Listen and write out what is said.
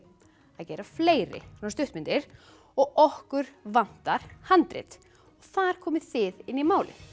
að gera fleiri svona stuttmyndir og okkur vantar handrit þar komið þið inn í málið